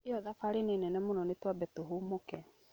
Ĩyo thabarĩ nĩ nene mũno nĩtwambe tũhũmũke.